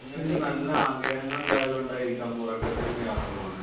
നിങ്ങൾക്ക് നല്ല ആഗ്രഹങ്ങൾ ഉള്ളത് കൊണ്ടായിരിക്കാം ഉറക്കത്തിൽ ഇങ്ങനെ യാത്ര പോകുന്നത്